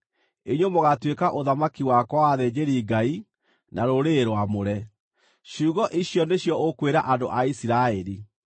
inyuĩ mũgaatuĩka ũthamaki wakwa wa athĩnjĩri-Ngai na rũrĩrĩ rwamũre.’ Ciugo icio nĩcio ũkwĩra andũ a Isiraeli.”